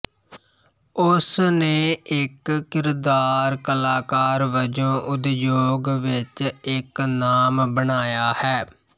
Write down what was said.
ਉਸ ਨੇ ਇੱਕ ਕਿਰਦਾਰ ਕਲਾਕਾਰ ਵਜੋਂ ਉਦਯੋਗ ਵਿੱਚ ਇੱਕ ਨਾਮ ਬਣਾਇਆ ਹੈ